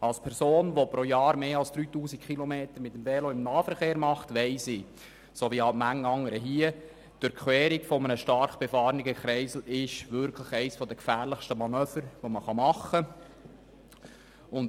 Als Person, die pro Jahr mehr als 3000 Kilometer mit dem Velo im Nahverkehr unterwegs ist, weiss ich wie manch anderer hier im Saal: Die Durchquerung eines stark befahrenen Kreisels ist wirklich eines der gefährlichsten Manöver, die man machen kann.